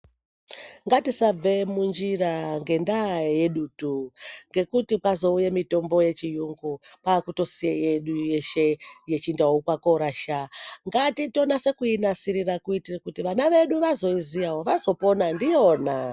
Ngatisabve munjira ngendaa yedutu ngekuti kwazouye mitombo yechiyungu kwakutosiye yedu yeshe yechindau kwakoorasha. Ngatitonase kuinasirira kuitire kuti vana vedu vazoiziya ,vazopona ndiyona.